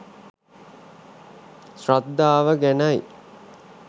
ශ්‍රද්ධාව ගැනයි.